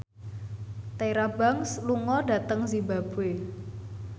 Tyra Banks lunga dhateng zimbabwe